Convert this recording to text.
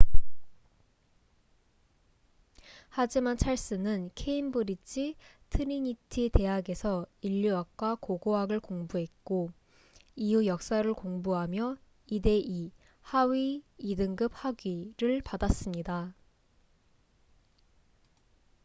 하지만 찰스는 케임브릿지 트리니티 대학에서 인류학과 고고학을 공부했고 이후 역사를 공부하며 2:2하위 2등급 학위를 받았습니다